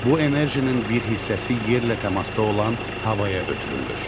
Bu enerjinin bir hissəsi yerlə təmasda olan havaya ötürülür.